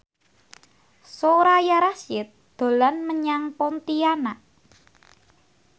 Soraya Rasyid dolan menyang Pontianak